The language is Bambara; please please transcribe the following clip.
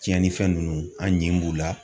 Tiɲɛnifɛn ninnu an ɲi b'u la.